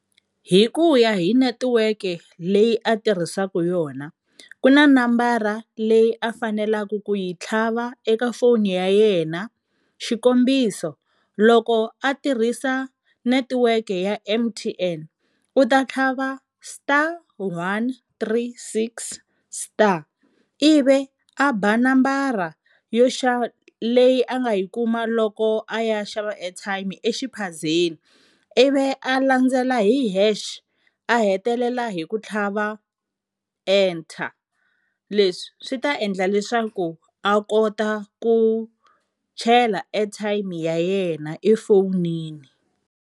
Hi ku ya hi netiweke leyi a tirhisaka yona ku na nambara leyi a fanelaka ku yi tlhava eka foni ya yena, xikombiso loko a tirhisa netiweke ya M_T_N u ta tlhava star one three six star, ivi a ba nambara yo leyi a nga yi kuma loko a ya xava airtime exiphazeni ivi a landzela hi hash a hetelela hi ku tlhava enter, leswi swi ta endla leswaku a kota ku chela airtime ya yena efowunini.